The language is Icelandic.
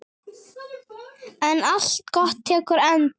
En allt gott tekur enda.